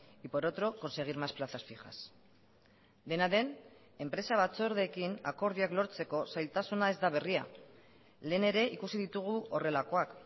y por otro conseguir más plazas fijas dena den enpresa batzordeekin akordioak lortzeko zailtasuna ez da berria lehen ere ikusi ditugu horrelakoak